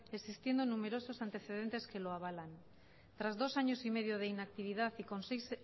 existiendo numerosos antecedentes que lo avalan tras dos años y medio de inactividad y con seis